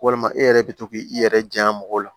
Walima e yɛrɛ bɛ to k' i i yɛrɛ janya mɔgɔw la